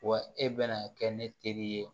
Wa e bɛna kɛ ne teri ye